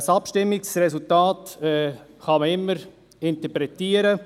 Ein Abstimmungsresultat kann man immer interpretieren;